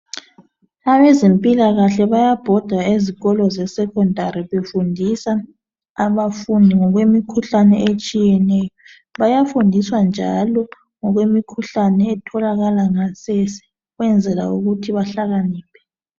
Abezemphilakahle bayabhoda ngezikolo ze 'secondary' befundisa abafundi ngokwemikhuhlane etshiyeneyo. Bayafundiswa njalo ngokwemikhuhlane etholakala ngasese ukwenzela ukuthi behlakaniphe.